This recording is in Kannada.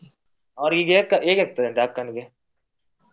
ಅವ್ರಿಗೆ ಹೇ~ ಹೇಗ್ ಆಗ್ತದೆ ಅಂತೆ.